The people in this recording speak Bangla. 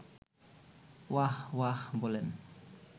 ওয়াহ্ ওয়াহ্ বলেন